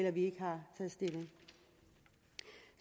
at vi ikke har taget stilling